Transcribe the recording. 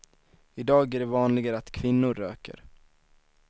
I dag är det vanligare att kvinnor röker.